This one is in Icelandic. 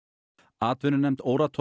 atvinnunefnd